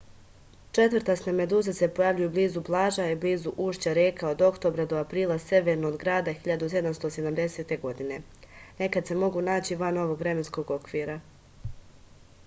četvrtaste meduze se pojavljuju blizu plaža i blizu ušća reka od oktobra do aprila severno od grada 1770. nekad se mogu naći van ovog vremenskog okvira